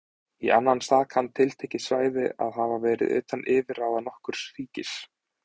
Í annan stað kann tiltekið svæði að hafa verið utan yfirráða nokkurs ríkis.